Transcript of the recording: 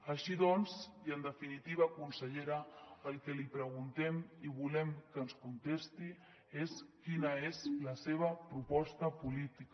així doncs i en definitiva consellera el que li preguntem i volem que ens contesti és quina és la seva proposta política